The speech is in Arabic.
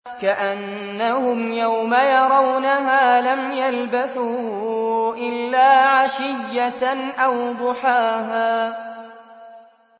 كَأَنَّهُمْ يَوْمَ يَرَوْنَهَا لَمْ يَلْبَثُوا إِلَّا عَشِيَّةً أَوْ ضُحَاهَا